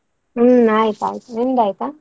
ಹ್ಮ್ ಆಯ್ತ್ ಆಯ್ತ್, ನಿಂದ್ ಆಯ್ತಾ?